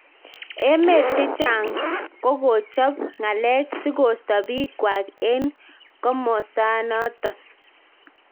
Emet cheng chang ko kokojap ngalek si kosta pik kwang eng komosan naton